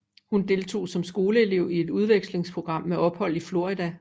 Hun deltog som skoleelev i et udvekslingsprogram med ophold i Florida